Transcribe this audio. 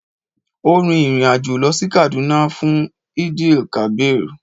ọ́ rin ìrìn àjò lọ sí Kaduna fún Eid-el-kabir.